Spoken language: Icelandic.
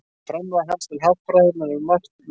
Framlag hans til haffræðinnar er um margt merkilegt.